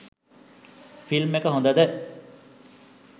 film එක හොඳද